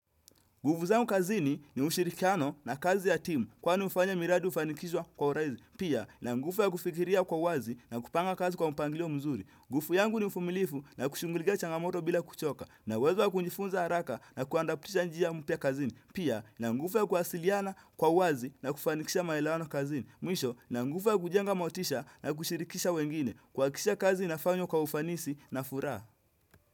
Nguvu zangu kazini ni ushirikiano na kazi ya timu kwani ufanye miradu ufanikishwa kwa urahisi Pia, na nguvu ya kufikiria kwa uwazi na kupanga kazi kwa mpangilio mzuri. Nguvu yangu ni mvumilivu na kushughulikia changamoto bila kuchoka. Na uwezo ya kujifunza haraka na kuandaptisha njia mpya kazini. Pia, na nguvu ya kuwasiliana kwa uwazi na kufanikisha maelewano kazini. Mwisho, na nguvu ya kujenga motisha na kushirikisha wengine. Kuhakikisha kazi inafanywa kwa ufanisi na furaha.